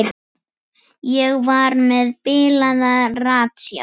Ég var með bilaða ratsjá.